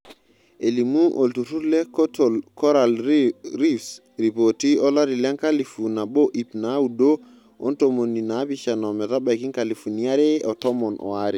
Elimu olturrur le Coatal Coral Reefs ripoti olari lenkalifu nabo iip naaudo ontomini naapishana ometabaiki nkalifuni are otomon aare.